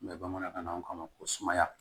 bamanankan na an k'a ma ko sumaya